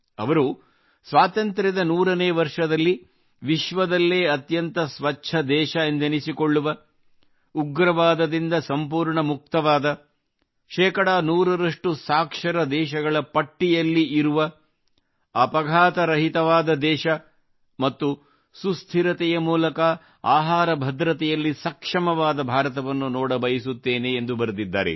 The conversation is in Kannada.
ಅವರು ಸ್ವಾತಂತ್ರ್ಯದ 100 ವರ್ಷದಲ್ಲಿ ವಿಶ್ವದಲ್ಲೇ ಅತ್ಯಂತ ಸ್ವಚ್ಛ ದೇಶವೆಂದೆನಿಸಿಕೊಳ್ಳುವ ಉಗ್ರವಾದದಿಂದ ಸಂಪೂರ್ಣ ಮುಕ್ತವಾದ ಶೇಕಡಾ ನೂರರಷ್ಟು ಸಾಕ್ಷರ ದೇಶಗಳ ಪಟ್ಟಿಯಲ್ಲಿರುವ ದೇಶ ಮತ್ತು ಸುಸ್ಥಿರತೆ ಮೂಲಕ ಆಹಾರ ಭದ್ರತೆಯಲ್ಲಿ ಸಕ್ಷಮವಾದ ಭಾರತವನ್ನು ನೋಡಬಯಸುತ್ತೇನೆ ಎಂದು ಬರೆದಿದ್ದಾರೆ